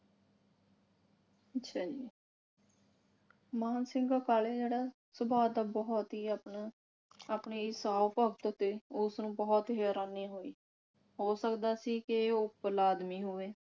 ਅੱਛਾ ਜੀ ਮਾਹਨ ਸਿੰਘ ਕਾਲੇ ਜਿਹੜਾ ਸੁਭਾਅ ਦਾ ਬਹੁਤ ਹੀ ਆਪਣਾ ਆਪਣੇ ਇਸ ਆਓ ਭਗਤ ਤੇ ਉਸਨੂੰ ਬਹੁਤ ਹੀ ਹੈਰਾਨੀ ਹੋਈ। ਹੋ ਸਕਦਾ ਸੀ ਕਿ ਉਹ ਭਲਾ ਆਦਮੀ ਹੋਵੇ